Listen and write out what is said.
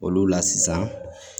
Olu la sisan